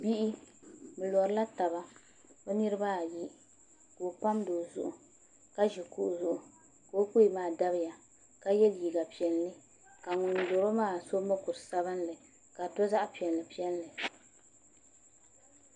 Bihi bi lorila taba bi niraba ayi ka o pamdi o zuɣu ka ʒi kuɣu zuɣu ka o kpee maa dabiya ka yɛ liiga piɛlli ka ŋun loro maa so mokuru sabinli ka di to zaɣ piɛlli piɛlli